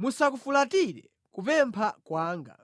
musakufulatire kupempha kwanga,